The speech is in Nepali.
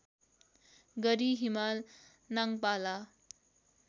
गरी हिमाल नाङपाला